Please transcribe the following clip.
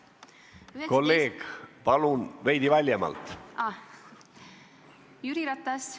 Kolleeg, palun veidi valjemalt!